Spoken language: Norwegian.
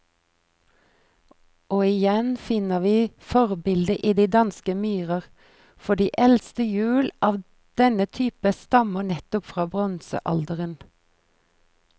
Og igjen finner vi forbildet i de danske myrer, for de eldste hjul av denne type stammer nettopp fra bronsealderen.